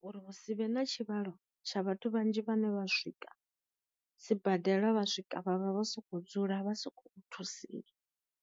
Uri husivhe na tshivhalo tsha vhathu vhanzhi vhane vha swika sibadela vha swika vha vha vha soko dzula vha soko u thusiwa.